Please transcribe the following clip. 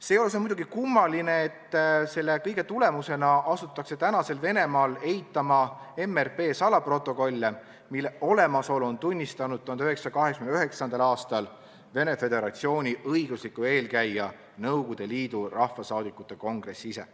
Seejuures on muidugi kummaline, et selle kõige tulemusena asutakse tänasel Venemaal eitama MRP salaprotokolle, mille olemasolu tunnistas 1989. aastal Venemaa Föderatsiooni õiguslik eelkäija Nõukogude Liidu Rahvasaadikute Kongress ise.